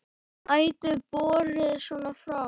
Ætíð borið svona fram.